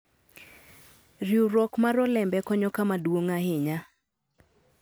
Riwruok mar olembe konyo kama duong' ahinya.